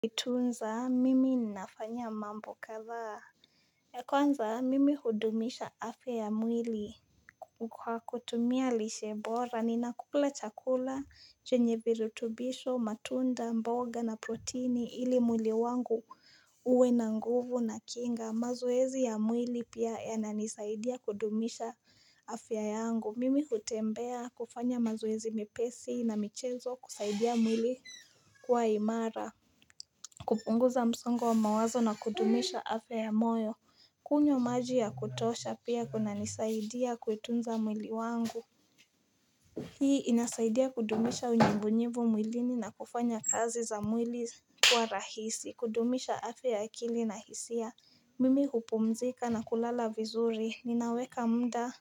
Kutunza mimi nafanya mambo kadhaa ya kwanza mimi hudumisha afya ya mwili Kwa kutumia lishe bora ninakula chakula chenye virutubisho matunda mboga na proteini ili mwili wangu uwe na nguvu na kinga mazoezi ya mwili pia yananisaidia kudumisha afya yangu mimi hutembea kufanya mazoezi mepesi na michezo kusaidia mwili kuwa imara kupunguza msongo wa mawazo na kudumisha afya ya moyo kunywa maji ya kutosha pia kunanisaidia kuitunza mwili wangu Hii inasaidia kudumisha unyevunyevu mwilini na kufanya kazi za mwili kuwa rahisi kudumisha afya ya akili na hisia Mimi hupumzika na kulala vizuri ninaweka muda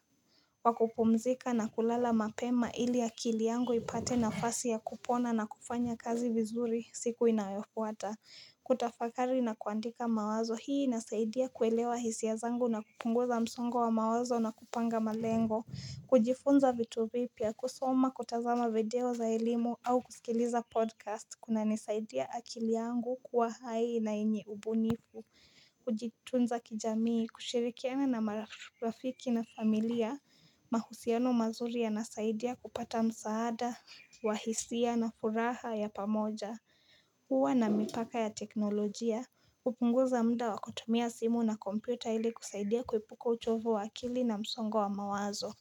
wa kupumzika na kulala mapema ili akili yangu ipate nafasi ya kupona na kufanya kazi vizuri siku inayofuata kutafakari na kuandika mawazo hii inasaidia kuelewa hisia zangu na kupunguza msongo wa mawazo na kupanga malengo kujifunza vitu vipya, kusoma, kutazama video za elimu au kusikiliza podcast kunanisaidia akili yangu kuwa hai na yenye ubunifu Kujitunza kijamii, kushirikiana na marafiki na familia mahusiano mazuri yanasaidia kupata msaada, wa hisia na furaha ya pamoja Huwa na mipaka ya teknolojia hupunguza muda wa kutumia simu na kompyuta ili kusaidia kuepuka uchovu wa akili na msongo wa mawazo.